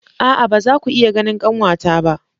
A'a ba za ku iya ganin kanwata ba.